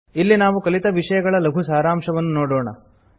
ಇಲ್ಲಿ ನಾವು ಕಲಿತ ವಿಷಯಗಳ ಲಘು ಸಾರಾಂಶವನ್ನು ನೋಡೋಣ